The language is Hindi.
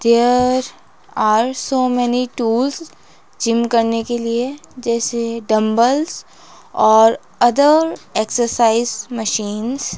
There are so many tools gym करने के लिए जैसे डमबल्स और अदर एक्सरसाइज मशीन्स ।